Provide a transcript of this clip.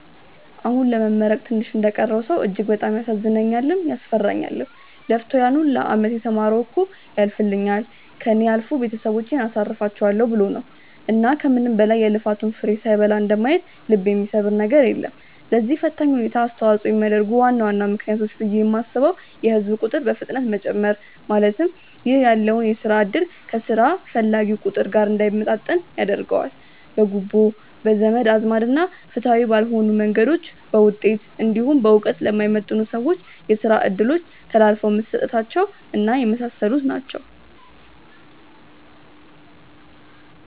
አሁን ለመመረቅ ትንሽ እንደቀረው ሰው እጅግ በጣም ያሳዝነኛልም፤ ያስፈራኛልም። ለፍቶ ያን ሁላ አመት የተማረው እኮ ያልፍልኛል፣ ከእኔ አልፎ ቤተሰቦቼን አሳርፋቸዋለው ብሎ ነው። እና ከምንም በላይ የልፋቱን ፍሬ ሳይበላ እንደማየት ልብ የሚሰብር ነገር የለም። ለዚህ ፈታኝ ሁኔታ አስተዋጽኦ የሚያደርጉ ዋና ዋና ምክንያቶች ብዬ የማስበው የህዝብ ቁጥር በፍጥነት መጨመር ( ይህ ያለውን የስራ እድል ከስራ ፈላጊው ቁጥር ጋር እንዳይመጣጠን ያደርገዋል።) ፣ በጉቦ፣ በዘመድ አዝማድ እና ፍትሃዊ ባልሆኑ መንገዶች በውጤት እንዲሁም በእውቀት ለማይመጥኑ ሰዎች የስራ እድሎች ተላልፈው መሰጠታቸው እና የመሳሰሉት ናቸው።